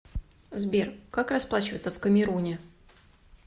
сбер как расплачиваться в камеруне